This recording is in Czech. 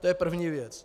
To je první věc.